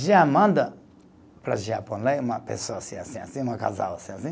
Já manda para o Japonês uma pessoa assim, assim, assim, uma casal assim assim.